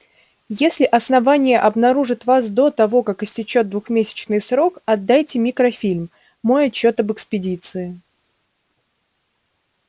если основание обнаружит вас до того как истечёт двухмесячный срок отдайте микрофильм мой отчёт об экспедиции